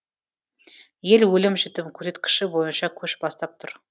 ел өлім жітім көрсеткіші бойынша көш бастап тұр